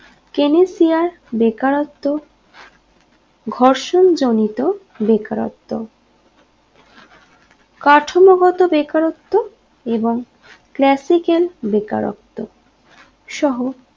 কেনিসিয়ার বেকারত্ব ঘর্ষণ জনিত বেকারত্ব কাঠামো গত বেকারত্ব এবং ক্লাসিক্যান বেকারত্ব সহ